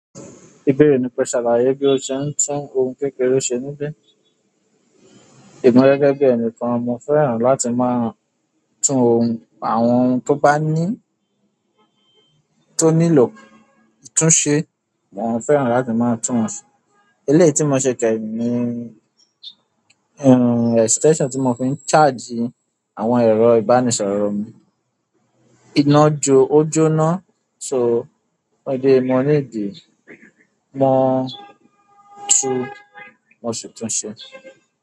Ìbéèrè ni pẹ̀ṣẹ̀ láyé kí ó ṣe tún ohun kékeré ṣe níbí? Emi gẹ́gẹ́ bí ẹnìkan mo fẹ́ràn láti máa tún ohun àwọn ohun tó bá ní tó nílò ìtúnṣe mo fẹ́ràn láti maa eléyìí tí mo ṣe kẹ́yìn ni extension tí mo fi ń charge àwọn ẹ̀rọ ìbánisọ̀rọ̀ mi iná jo, ó jóná so ọdẹ mo nídi mo tún, mo ṣètùnṣe.